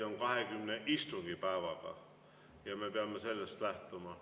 On 20 istungipäeva ja me peame sellest lähtuma.